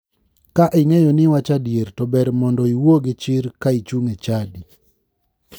Ka ing'eyo ni iwacho adier to ber mondo iwuo gi chir ka ichung' e chadi.